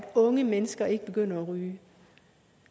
unge mennesker ikke begynder at ryge